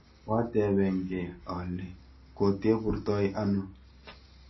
Koateben gee ale koteburtoi ano